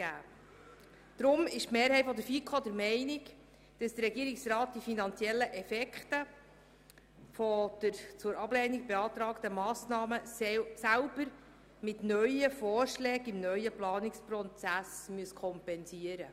Deshalb ist die Mehrheit der FiKo der Meinung, der Regierungsrat müsse die finanziellen Auswirkungen der Ablehnung von Massnahmen selber mit neuen Vorschlägen im neuen Planungsprozess kompensieren.